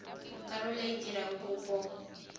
karolo e a dirang kopo